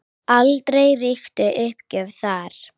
Aldrei ríkti uppgjöf þar.